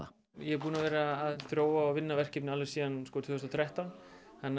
ég er búinn að vera að þróa og vinna verkefnið alveg síðan tvö þúsund og þrettán þannig að